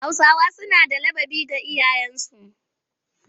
Hausawa suna da ladabi ga iyayensu